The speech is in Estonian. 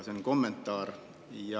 See on kommentaar.